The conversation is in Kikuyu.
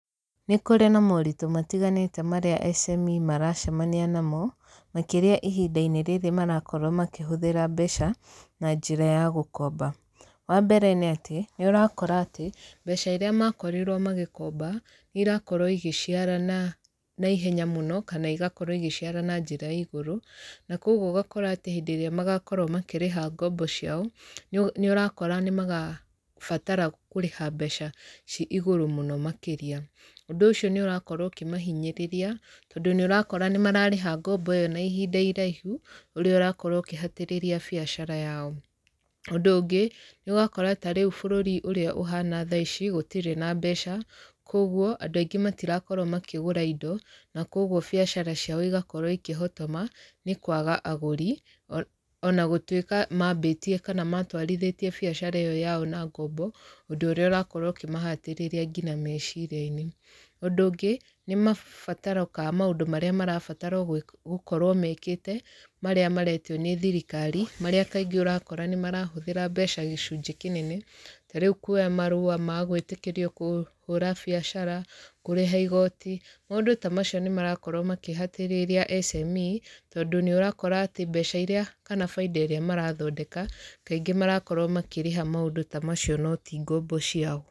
Nĩ kũrĩ na moritũ matiganĩte marĩa SME maracemania namo, makĩria ihinda-inĩ rĩrĩ marakorwo makĩhũthĩra mbeca, na njĩra ya gũkomba. Wa mbere nĩ atĩ, nĩ ũrakora atĩ, mbeca irĩa makorirwo magĩkomba, nĩ irakorwo igaciarana naihenya mũno, kana igakorwo igĩciara na njĩra ya igũrũ, na kũguo ũgakora atĩ hĩndĩ ĩrĩa magakorwo makĩrĩha ngombo ciao, nĩ ũrakora nĩ magabatara kũrĩha mbeca ci igũrũ mũno makĩria. Ũndũ ũcio nĩ ũrakorwo ũkĩmahinyĩrĩria, tondũ nĩ ũrakora nĩ mararĩha ngombo ĩyo na ihinda iraihu, ũrĩa ũrakorwo ũkĩhatĩrĩria biacara yao. Ũndũ ũngĩ, nĩ ũgakora ta rĩu bũrũri ũrĩa ũhana ũhana thaa ici, gũtirĩ na mbeca, kũguo andũ aingĩ matirakorwo makĩgũra indo, na kũguo biacara ciao igakorwo ikĩhotoma, nĩ kwaga agũri, ona gũtuĩka maambĩtie kana matwarithĩtie biacara ĩyo yao na ngombo, ũndũ ũrĩa ũrakorwo ũkĩmahatĩrĩria ngina meciria-inĩ. Ũndũ ũngĩ, nĩ mabataro ka maũndũ marĩa marabatarwo gũkorwo mekĩte, marĩa maretio nĩ thirikari, marĩa kaingĩ ũrakora nĩ marahũthĩra mbeca gĩcunjĩ kĩnene. Ta rĩu kuoya marũa ma gwĩtĩkĩrio kũhũra biacara, kũrĩha igooti, maũndũ ta macio nĩ marakorwo makĩhatĩrĩria SME, tondũ nĩ ũrakora atĩ mbeca irĩa kana baida ĩrĩa marathondeka, kaingĩ marakorwo makĩrĩha maũndũ ta macio no ti ngombo ciao.